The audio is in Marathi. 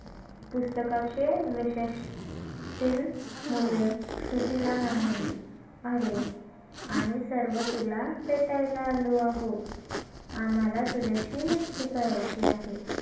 पुस्तकाचे विशेष तील मुलं सुश्रुत ला म्हणाली आरे आम्ही सर्व तुला भेटायला आलो आहोत. आम्हाला तुझ्याशी मैत्री करायची आहे.